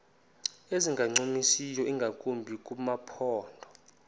ezingancumisiyo ingakumbi kumaphondo